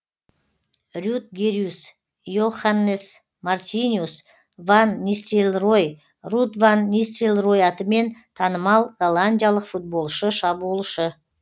рютгерюс йоханнес мартиниус ван нистелрой руд ван нистелрой атымен танымал голландиялық футболшы шабуылшы